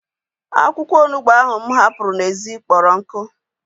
Akwụkwọ onugbu ahu mụ hapụrụ n'ezi kpọrọ nkụ